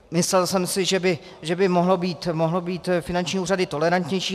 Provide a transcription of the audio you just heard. Myslel jsem si, že by mohly být finanční úřady tolerantnější.